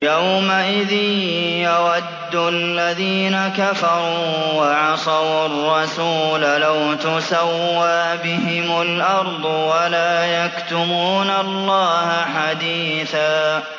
يَوْمَئِذٍ يَوَدُّ الَّذِينَ كَفَرُوا وَعَصَوُا الرَّسُولَ لَوْ تُسَوَّىٰ بِهِمُ الْأَرْضُ وَلَا يَكْتُمُونَ اللَّهَ حَدِيثًا